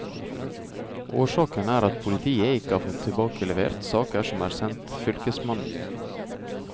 Årsaken er at politiet ikke har fått tilbakelevert saker som er sendt fylkesmannen.